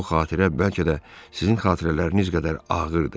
Bu xatirə bəlkə də sizin xatirələriniz qədər ağırdır.